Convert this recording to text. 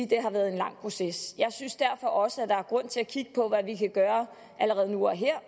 det har været en lang proces jeg synes derfor også at der er grund til at kigge på hvad vi kan gøre allerede nu og her